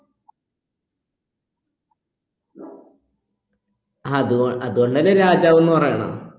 അതുകൊ അത് കൊണ്ടല്ലേ രാജാവ്ന്ന് പറയണത്